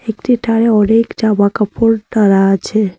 একটি টারে অনেক জামাকাপড় টারা আছে।